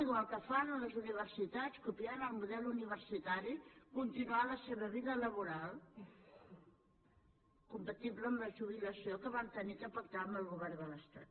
igual que fan les universitats copiant el model universitari continuar la seva vida laboral compatible amb la jubilació que vam haver de pactar amb el govern de l’estat